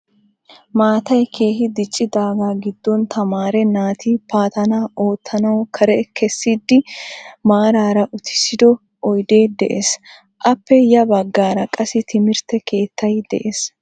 Maattay keehi diccidaagaa giddon tamaare naati paatanaa oottanawu kare kessidi maaraara uttisido oydee des. appe ya bagaara qassi timirtte keettay des.